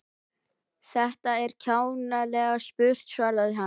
Þetta er ekki kjánalega spurt svaraði hann.